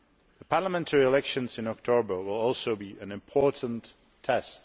The parliamentary elections in October will also be an important test.